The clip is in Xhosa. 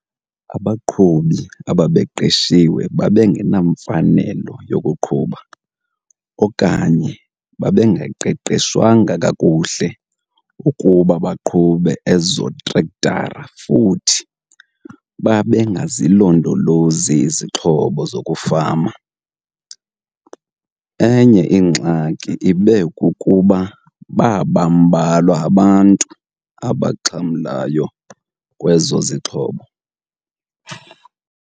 Abaqhubi ababeqeshiwe babengenamfanelo yokuqhuba okanye bengaqeqeshwanga kakuhle ukuba baqhube ezo trektara futhi bengazilondolozi izixhobo zokufama. Enye ingxaki ibe kukuba baba mbalwa abantu abaxhamlayo kwezo zixhobo.